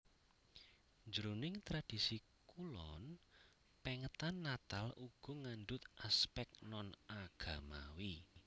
Jroning tradhisi kulon pèngetan Natal uga ngandhut aspèk non agamawi